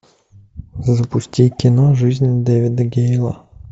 запусти кино жизнь дэвида гейла